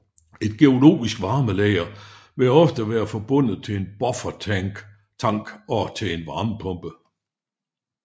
Et geologisk varmelager vil oftest være forbundet til en buffertank og til en varmepumpe